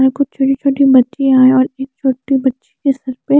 यहाँ कुछ छोटे छोटे बच्चियां है और एक छोटी बच्ची के सर पे--